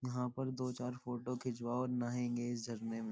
यहाँ पर दो चार फोटो खींचवाहो नआएंगे इस झरने में।